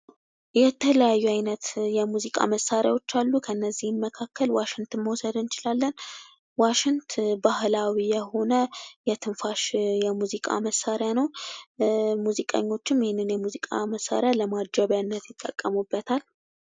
የተለያዩ አይነት የሙዚቃ መሳሪያዎች አሉ። ከነዚህም መካከል ዋሽንትን መውሰድ እንችላለን። ዋሽንት ባህላዊ የሆነ የትንፋሽ የሙዚቃ መሳሪያ ነው። ሙዚቀኞችም ይህንን የሙዚቃ መሳሪያ ለማጀበያነት ይጠቀሙበታል።